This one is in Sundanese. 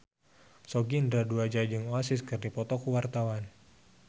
Sogi Indra Duaja jeung Oasis keur dipoto ku wartawan